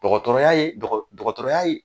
Dɔgɔtɔrɔya ye dɔgɔtɔrɔya ye